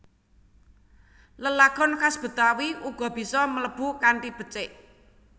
Lelagon khas Betawi uga bisa mlebu kanthi becik